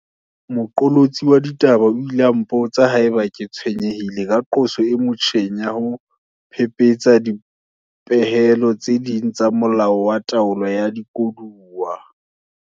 Moqolotsi wa ditaba o ile a mpotsa haeba ke tshwenyehile ka qoso e motjheng ya ho phephetsa dipehelo tse ding tsa Molao wa Taolo ya Dikoduwa.